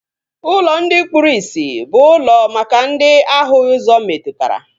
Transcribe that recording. Ụlọ ndi kpụrụ isi bụ ụlọ maka ndị ahụghị ụzọ metụtara